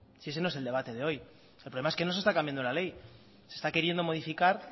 si ese no es el debate de hoy el problema es que no se está cambiando la ley se está queriendo modificar